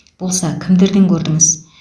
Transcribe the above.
болса кімдерден көрдіңіз